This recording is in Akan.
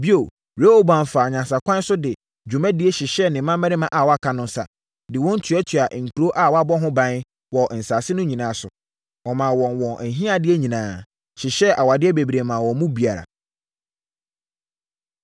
Bio, Rehoboam faa nyansakwan so de dwumadie hyehyɛɛ ne mmammarima a wɔaka no nsa, de wɔn tuatuaa nkuro a wɔabɔ ho ban, wɔ nsase no nyinaa so. Ɔmaa wɔn wɔn ahiadeɛ nyinaa, hyehyɛɛ awadeɛ bebree maa wɔn mu biara.